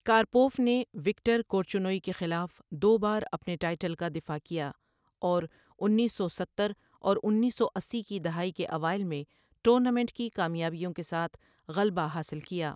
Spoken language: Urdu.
کارپوف نے وکٹر کورچنوئی کے خلاف دو بار اپنے ٹائٹل کا دفاع کیا اور انیس سو ستہر اور انیس سو اسی کی دہائی کے اوائل میں ٹورنامنٹ کی کامیابیوں کے ساتھ غلبہ حاصل کیا۔